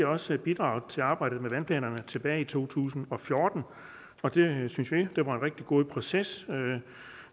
også bidraget til arbejdet med vandplanerne tilbage i to tusind og fjorten og det synes venstre var en rigtig god proces